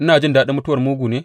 Ina jin daɗin mutuwar mugu ne?